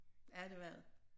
Ja det var det